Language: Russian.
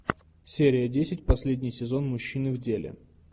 серия десять последний сезон мужчины в деле